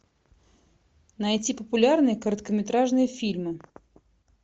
найти популярные короткометражные фильмы